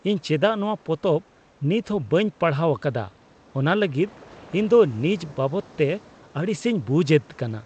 ᱤᱧ ᱪᱮᱫᱟᱜ ᱱᱚᱣᱟ ᱯᱚᱛᱚᱵ ᱱᱤᱛ ᱦᱚᱸ ᱵᱟᱹᱧ ᱯᱟᱲᱦᱟᱣ ᱟᱠᱟᱫᱟ ᱚᱱᱟ ᱞᱟᱹᱜᱤᱫ ᱤᱧ ᱫᱚ ᱱᱤᱡ ᱵᱟᱵᱚᱫᱛᱮ ᱟᱹᱲᱤᱥᱤᱧ ᱵᱩᱡᱷᱮᱫ ᱠᱟᱱᱟ ᱾